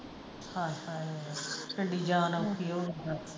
ਹਾਏ ਹਾਏ ਕਿਡੀ ਜਾਣ ਔਖੀ ਹੋਗੀ ਦਸ।